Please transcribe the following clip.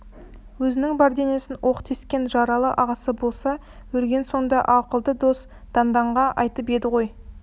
өзінің бар денесін оқ тескен жаралы ағасы болса өлген сонда ақылды дос данданға айтып еді ғой